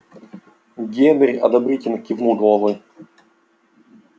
генри одобрительно кивнул головой